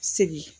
Sigi